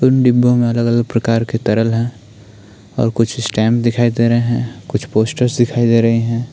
दो डिब्बों में अलग-अलग प्रकार तरल हैं और कुछ स्टैंड दिखाई दे रहे हैं कुछ पोस्टर्स दिखाई दे रहे हैं।